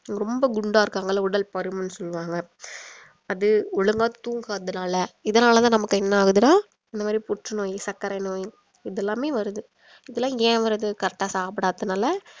ரொம்ப குண்டா இருக்காங்க இல்ல உடல் பருமன் சொல்லுவாங்க அது ஒழுங்கா தூங்காததுனால இதனால தான் நமக்கு என்ன ஆகுதுனா இந்த மாரி புற்று நோய் சக்கரை நோய் இதெல்லாமே வருது இதெல்லாம் ஏன் வருது correct ஆ சாப்பிடாததுனால